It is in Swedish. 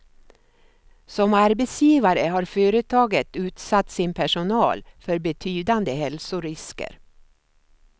Som arbetsgivare har byggföretaget utsatt sin personal för betydande hälsorisker.